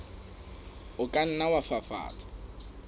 o ka nna wa fafatsa